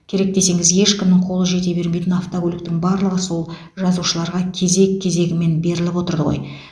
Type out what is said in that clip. керек десеңіз ешкімнің қолы жете бермейтін автокөліктің барлығы сол жазушыларға кезек кезегімен беріліп отырды ғой